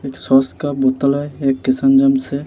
एक सॉस का बोटल है एक किसान जमस है।